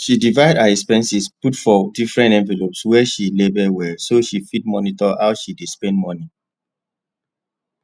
she divide her expenses put for different envelopes wey she label well so she fit monitor how she dey spend money